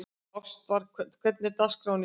Ástvar, hvernig er dagskráin í dag?